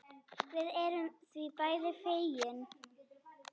Við erum því bæði fegin.